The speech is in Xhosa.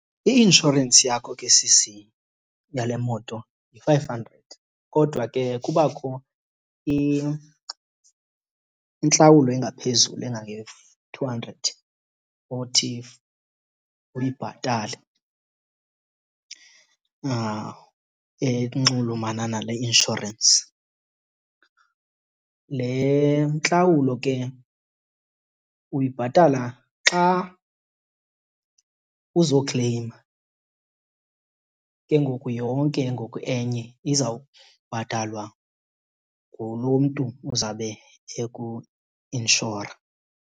I-inshorensi yakho ke sisi yale moto yi-five hundred kodwa ke kubakho intlawulo engaphezulu engange-two hundred othi uyibhatale enxulumana nale inshorensi. Le ntlawulo ke uyibhatala xa uzokleyima, ke ngoku yonke ngoku enye izawubhatalwa ngulo mntu uzawube ekuinshora.